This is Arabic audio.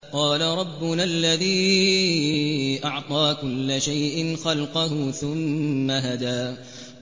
قَالَ رَبُّنَا الَّذِي أَعْطَىٰ كُلَّ شَيْءٍ خَلْقَهُ ثُمَّ هَدَىٰ